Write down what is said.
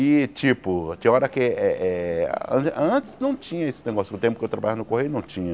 E, tipo, tinha hora que eh eh... An antes não tinha esse negócio, com o tempo que eu trabalhava no Correio, não tinha.